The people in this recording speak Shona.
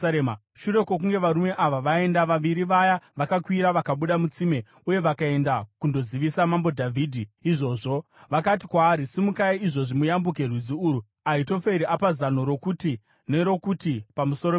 Shure kwokunge varume ava vaenda, vaviri vaya vakakwira vakabuda mutsime uye vakaenda kundozivisa Mambo Dhavhidhi izvozvo. Vakati kwaari, “Simukai izvozvi muyambuke rwizi urwu; Ahitoferi apa zano rokuti nerokuti pamusoro penyu.”